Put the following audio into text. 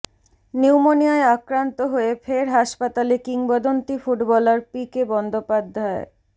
নিউমোনিয়ায় আক্রান্ত হয়ে ফের হাসপাতালে কিংবদন্তী ফুটবলার পিকে বন্দ্যোপাধ্যায়